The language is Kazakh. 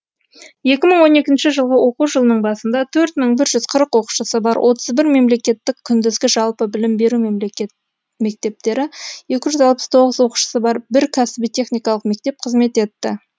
екі мың он екінші жылғы оқу жылының басында төрт мың бір жүз қырық оқушысы бар отыз бір мемлекеттік күндізгі жалпы білім беру мектептері екі жүз алпыс тоғыз оқушысы бар бір кәсіби техникалық мектеп қызмет етті